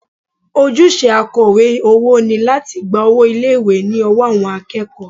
Ojúṣe akọ̀wé owó ni láti gba owó ilé ìwé ní ọwọ́ àwọn akẹ́kọ̀ọ́